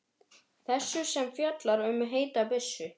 Þessu sem fjallar um heita byssu.